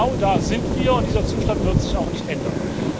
Genau da sind wir, und dieser Zustand wird sich auch nicht ändern.